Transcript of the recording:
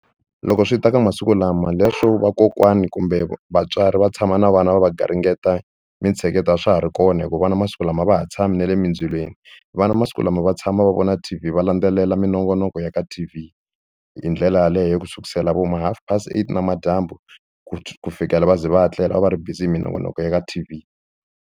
Loko swi ta ka masiku lama leswo vakokwani kumbe vatswari va tshama na vana va va garingeta mintsheketo a swa ha ri kona hikuva vana masiku lama a va ha tshami na le mindzilweni vana masiku lama va tshama ma va vona T_V va landzelela minongonoko ya ka T_V hi ndlela yaleyo ku sukusela vo ma half pasi eight namadyambu ku fikela va ze va tlela va va ri busy hi minongonoko ya ka T_V.